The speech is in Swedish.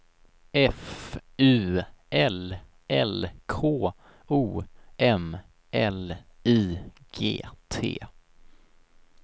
F U L L K O M L I G T